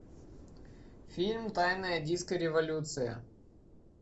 фильм тайная диско революция